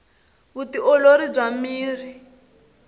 vu ti olori bya miri